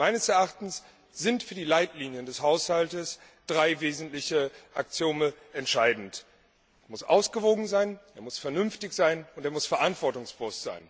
Meines Erachtens sind für die Leitlinien des Haushaltes drei wesentliche Axiome entscheidend Er muss ausgewogen sein, er muss vernünftig sein und er muss verantwortungsbewusst sein.